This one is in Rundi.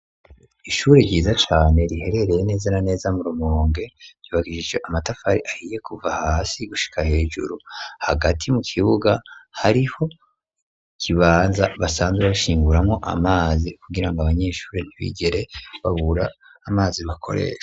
Ishure ryiza cane riherereye neza na neza mu rumonge yubagije ijo amatafari ahiye kuva hasi gushika hejuru hagati mu kibuga hariho kibanza basanzwe bashinguramo amazi kugira ngo abanyeshuri ntbigere babura amazi bakorese.